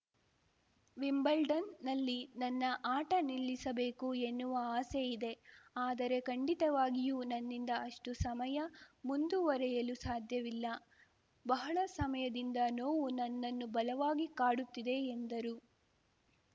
ವಿಂಬಲ್ಡನ್‌ನಲ್ಲಿ ನನ್ನ ಆಟ ನಿಲ್ಲಿಸಬೇಕು ಎನ್ನುವ ಆಸೆಯಿದೆ ಆದರೆ ಖಂಡಿತವಾಗಿಯೂ ನನ್ನಿಂದ ಅಷ್ಟುಸಮಯ ಮುಂದುವರಿಯಲು ಸಾಧ್ಯವಿಲ್ಲ ಬಹಳ ಸಮಯದಿಂದ ನೋವು ನನ್ನನ್ನು ಬಲವಾಗಿ ಕಾಡುತ್ತಿದೆ ಎಂದರು